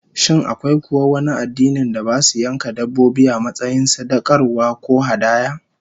Shin akwai kuwa wani addinin da basu yanka dabbobi, a matsayin sadaukarwa ko hadaya?